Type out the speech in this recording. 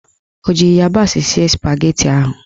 Ọ ji ịyabasị sie spageti ụnyaahụ?